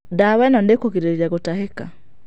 Ndawa ĩno nĩ ikũrigĩrĩria gũtahĩka.